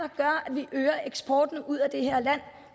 vi øger eksporten ud af det her land